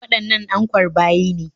Waɗannan ankwar bayi ne?